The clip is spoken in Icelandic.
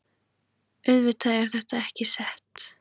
Auðvitað er þetta ekki sett